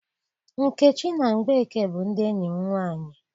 Nkechi na Mgbeke bụ ndị enyi m nwaanyị.